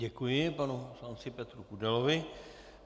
Děkuji panu poslanci Petru Kudelovi.